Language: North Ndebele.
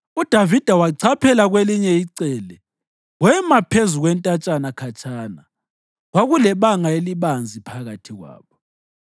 UDavida wachaphela ngakwelinye icele wema phezu kwentatshana khatshana; kwakulebanga elibanzi phakathi kwabo.